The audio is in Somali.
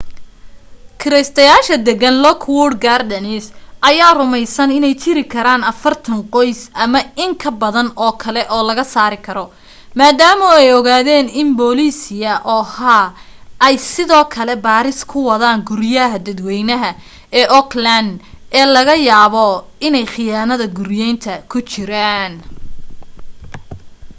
kiraystayaasha degan lockwood gardens ayaa rumaysan inay jiri karaan 40 qoys ama in ka badan oo kale oo la saari karo maadaama ay ogaadeen in booliisia oha ay sidoo kale baaris ku wadaan guryaha dadwaynaha ee oakland ee laga yaabo inay khiyaanada guriyaynta ku jireen